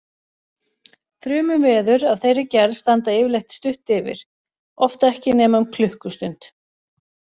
Þrumuveður af þeirri gerð standa yfirleitt stutt yfir, oft ekki nema um klukkustund.